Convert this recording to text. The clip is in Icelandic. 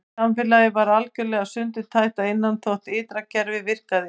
En samfélagið var algjörlega sundurtætt að innan þótt ytra kerfið virkaði.